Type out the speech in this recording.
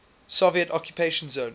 soviet occupation zone